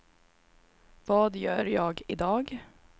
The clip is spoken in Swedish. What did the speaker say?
vad gör jag idag